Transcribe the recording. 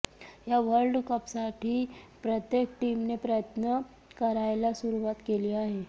या वर्ल्ड कपसाठी प्रत्येक टीमने प्रयत्न करायला सुरुवात केली आहे